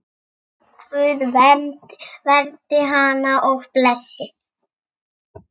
Guð verndi hana og blessi.